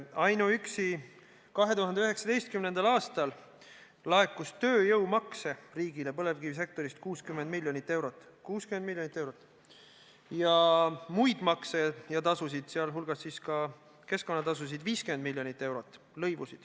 Ainuüksi 2019. aastal laekus riigile põlevkivisektorist tööjõumakse 60 miljonit eurot ja muid makse, lõivusid ja tasusid, sealhulgas keskkonnatasusid, 50 miljonit eurot.